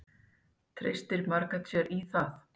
Treystir Margrét sér í það?